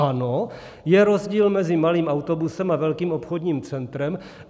Ano, je rozdíl mezi malým autobusem a velkým obchodním centrem.